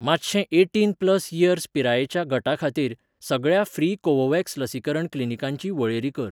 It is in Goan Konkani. मातशें एटीन प्लस इयर्स पिरायेच्या गटा खातीर, सगळ्या फ्री कोवोव्हॅक्स लसीकरण क्लिनीकांची वळेरी कर.